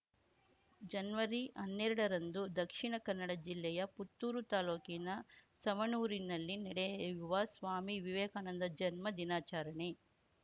ಜನ್ವರಿಹನ್ನೆರಡರಂದು ದಕ್ಷಿಣಕನ್ನಡ ಜಿಲ್ಲೆಯ ಪುತ್ತೂರು ತಾಲೂಕಿನ ಸವಣೂರಿನಲ್ಲಿ ನಡೆಯುವ ಸ್ವಾಮಿ ವಿವೇಕಾನಂದ ಜನ್ಮ ದಿನಾಚರಣೆ